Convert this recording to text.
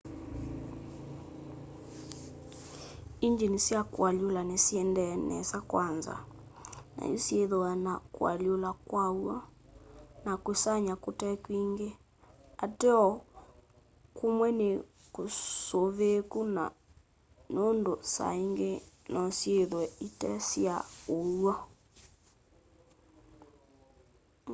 ingyini sya kualyula nisiendee nesa kwanza nayu syithwaa na kualyula kwa w'o na kusany'a kute kwingi ateo kumwe ni kusuviiku nundu saa ingi nosyithwe ite sya uw'o